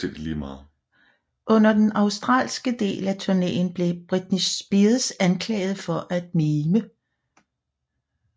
Under den australske del af turnéen blev Britney Spears anklaget for at mime